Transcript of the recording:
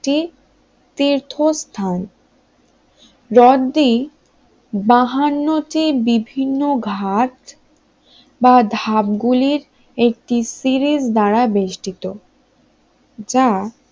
তীর্থস্থান হ্রদটি বাহান্ন টি বিভিন্ন ঘাট বা ধাপ গুলি একটি সিঁড়ির দ্বারা বেষ্টিত যা